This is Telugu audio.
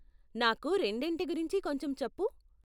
నాకు రెండింటి గురించి కొంచెం చెప్పు.